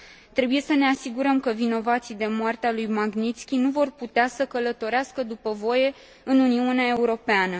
Trebuie să ne asigurăm că vinovații de moartea lui Magnițki nu vor putea să călătorească după voie în Uniunea Europeană.